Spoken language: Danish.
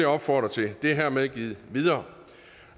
opfordre til det er hermed givet videre